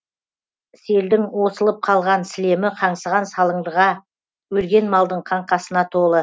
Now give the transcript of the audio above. селдің осылып қалған сілемі қаңсыған салындыға өлген малдың қаңқасына толы